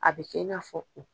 A bɛ kɛ i n'a fɔ o.